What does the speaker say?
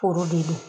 Foro de don